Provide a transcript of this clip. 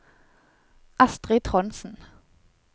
Astrid Trondsen